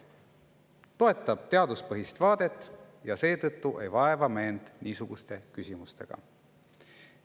Ta toetab teaduspõhist vaadet ja seetõttu ei vaeva me end niisuguste küsimustega.